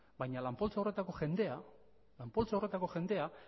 baina lan poltsa horretako jendea